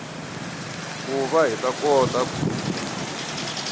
ku va hi ta kota